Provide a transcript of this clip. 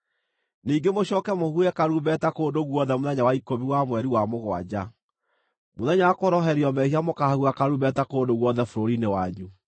Ningĩ mũcooke mũhuhe karumbeta kũndũ guothe mũthenya wa ikũmi wa mweri wa mũgwanja; Mũthenya wa Kũhoroherio Mehia, mũkaahuha karumbeta kũndũ guothe bũrũri-inĩ wanyu.